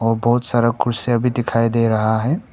और बहोत सारा कुर्सियां भी दिखाई दे रहा है।